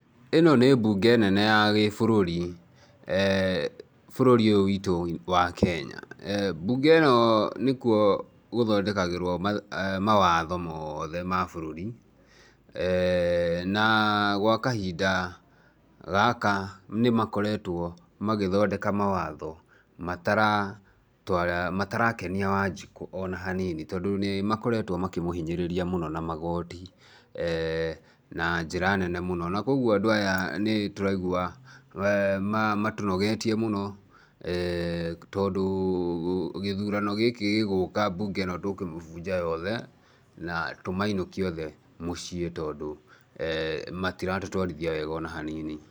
Ĩno nĩ mbunge nene ya gĩbũrũri, bũrũri ũyũ witũ wa Kenya. Mbunge ĩno nĩkuo gũthondekagĩrwo mawatho moothe ma bũrũri na gwa kahinda gaka nĩmakoretwo magĩthondeka mawatho matara twara, matarakenia Wanjikũ ona hanini, tondũ nĩ makoretwo makĩmũhinyĩrĩria mũno magoti na njĩra nene mũno, na kwoguo andũ aya nĩtũraigua ma matũnogetie mũno tondũ gĩthurano gĩkĩ gĩgũka mbunge ĩno tũkũmĩbunja yothe na tũmainũkie othe mũciĩ tondũ matiratũtwarithia wega ona hanini